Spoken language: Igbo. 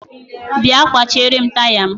bia kwachierem taya m.